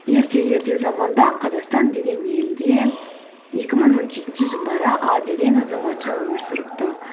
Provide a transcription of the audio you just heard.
ерте ерте заманда қазақстан деген елде екі мың он жетінші жылдары а деген азаматша өмір сүріпті